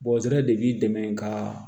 de b'i dɛmɛ kaa